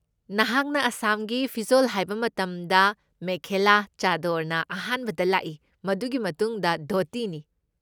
ꯅꯍꯥꯛꯅ ꯑꯁꯥꯝꯒꯤ ꯐꯤꯖꯣꯜ ꯍꯥꯏꯕ ꯃꯇꯝꯗ, ꯃꯦꯈꯦꯂꯥ ꯆꯥꯗꯣꯔꯅ ꯑꯍꯥꯟꯕꯗ ꯂꯥꯛꯏ, ꯃꯗꯨꯒꯤ ꯃꯇꯨꯡꯗ ꯙꯣꯇꯤꯅꯤ꯫